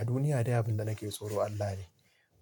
A duniya dai abin da nake tsoro Allah ne.